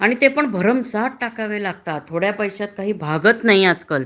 आणि ते पण भरमसाठ टाकावे लागतात थोड्या पैशात काही भागत नाही आज काल